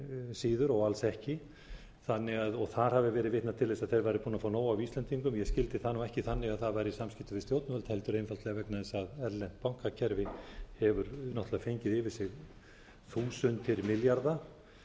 síður og alls ekki og þar hafi verið vitnað til þess að þeir hafi verið búnir að fá nóg af íslendingum ég skildi það nú ekki þannig að það væri í samskiptum við stjórnvöld heldur einfaldlega vegna þess að erlent bankakerfi hefur náttúrlega fengið yfir sig þúsundir milljarða